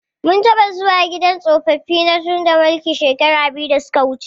Mun taɓa zuwa gidan tsofaffi na Tudunmaliki shekara biyu da suka wuje.